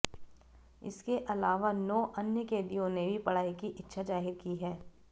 इसके अलावा नौ अन्य कैदियों ने भी पढ़ाई की इच्छा जाहिर की है